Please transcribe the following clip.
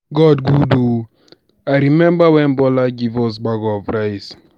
God good oo. I remember wen Bola give us bag of rice